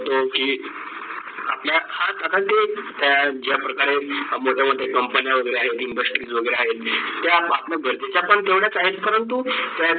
तो की आपल्या खास आता ते या प्रकारे मोठे मोठे कंपन्या आहे इंडस्ट्री वगैरे जे आहेत ते आपण आपल्या गरजेचा पण तेवढाच आहे परंतु